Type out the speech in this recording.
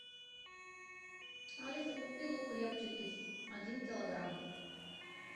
алиса купи лук репчатый один килограмм